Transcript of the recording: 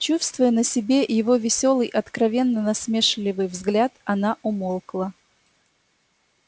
чувствуя на себе его весёлый откровенно насмешливый взгляд она умолкла